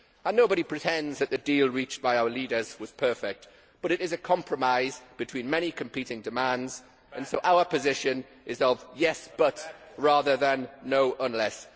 Nobody pretends that the deal reached by our leaders was perfect, but it is a compromise between many competing demands and so our position is of yes, but' rather than no, unless'.